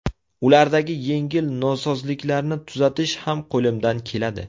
Ulardagi yengil nosozliklarni tuzatish ham qo‘limdan keladi.